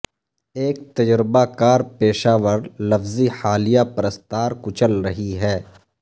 ایک تجربہ کار پیشہ ور لفظی حالیہ پرستار کچل رہی ہے